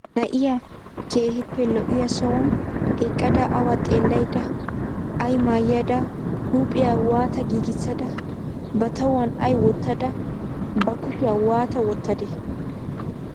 Na'iya keehippe lo'iya sohuwan eqqada awa xeellaydda, ay maayada huuphiya waata giigissada, ba tuwan ay wottada ba kushiya waata wottadee?